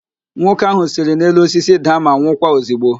Nwoke ahụ siri n'elu osisi daa ma nwụkwa ozigbo